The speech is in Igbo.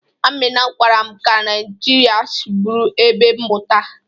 Amina gwara m ka Naijiria si bụrụ ebe mmụta.